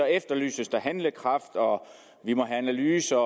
efterlyses der handlekraft og at vi må have analyser